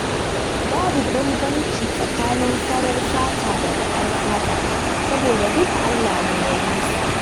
Babu bambanci tsakanin farar fata da bakar fata saboda duka Allah ne ya yi su.